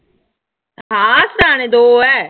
ਹਾਂ ਸਿਰਾਹਣੇ ਦੋ ਹੈ।